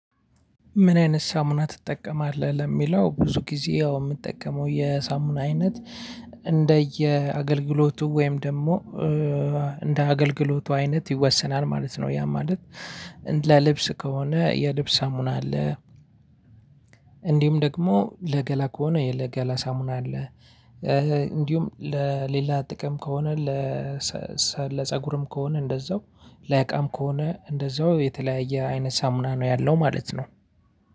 ምን? አይነት ሳሙና ትጠቀማለህ ለሚለው ብዙ ጊዜ የምጠቀመው የሳሙና አይነት እንደየ አገልግሎቱ ወይም ደግሞ እንደ አገልግሎቱ አይነት ይወሰናል ማለት ነው። ያ ማለት ለልብስ ከሆነ የልብስ ሳሙና አለ። እንዲሁም ደግሞ ለገላ ከሆነ የገላ ሳሙና አለ። እንዲሁም ለሌላ ጥቅም ከሆነ ለፀጉርም ከሆነ እንደዛው ለእቃም ከሆነ እንደዛው የተለያየ አይነት ሳሙና ነው ያለው ማለት ነው።